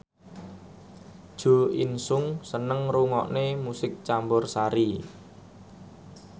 Jo In Sung seneng ngrungokne musik campursari